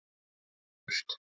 Flogið burt.